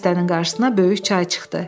Dəstənin qarşısına böyük çay çıxdı.